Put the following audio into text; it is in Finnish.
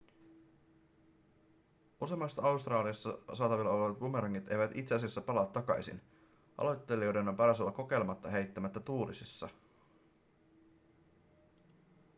useimmat australiassa saatavilla olevat bumerangit eivät itse asiassa palaa takaisin aloittelijoiden on paras olla kokeilematta heittämistä tuulisissa